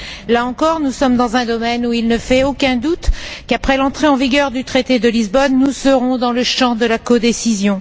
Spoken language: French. Là encore, nous sommes dans un domaine où il ne fait aucun doute qu'après l'entrée en vigueur du traité de Lisbonne, nous serons dans le champ de la codécision.